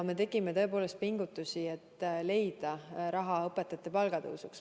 Me tegime tõepoolest pingutusi, et leida raha õpetajate palga tõstmiseks.